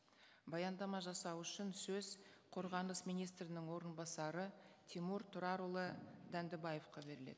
баяндама жасау үшін сөз қорғаныс министрінің орынбасары тимур тұрарұлы дәндібаевқа беріледі